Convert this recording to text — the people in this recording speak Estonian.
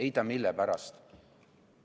Ei tea, mille pärast?